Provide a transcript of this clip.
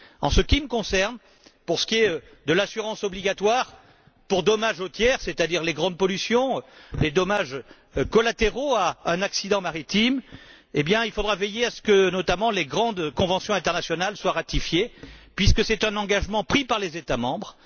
En ce qui me concerne, pour ce qui est de l'assurance obligatoire pour dommages aux tiers, c'est à dire les grandes pollutions et les dommages collatéraux à un accident maritime, il faudra veiller à ce que les grandes conventions internationales, notamment, soient ratifiées, puisque c'est un engagement pris par les États membres.